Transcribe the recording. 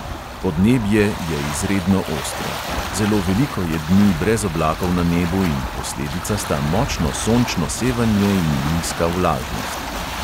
Podnebje je izredno ostro; zelo veliko je dni brez oblakov na nebu in posledica sta močno sončno sevanje in nizka vlažnost.